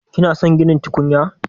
Kina son ginin tukunya?